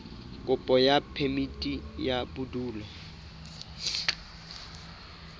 kopo ya phemiti ya bodulo